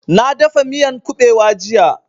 Na dafa miyan ƙubewa jiya